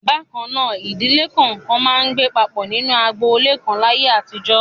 Bákan náà, ìdílé kọ̀ọ̀kan máa ń gbé papọ̀ nínú agboolé kan láyé àtijọ́.